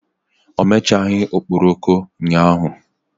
O mechaghị okporoko ụnyahụ.